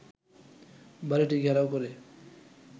বাড়ীটি ঘেরাও করে